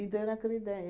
Então, era aquela ideia.